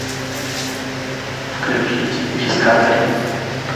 включить дискавери